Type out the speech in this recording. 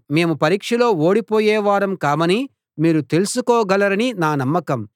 మేము పరీక్షలో ఓడిపోయే వారం కామని మీరు తెలుసుకోగలరని నా నమ్మకం